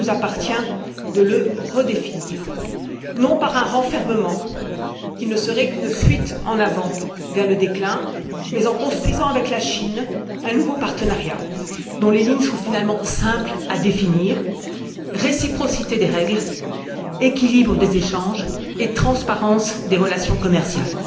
Il nous appartient de le redéfinir, pas en nous repliant sur nous même, ce qui ne serait qu'une fuite en avant vers le déclin, mais en construisant avec la Chine un nouveau partenariat dont les lignes seront finalement simples à définir réciprocité des règles, équilibre des échanges et transparence des relations commerciales.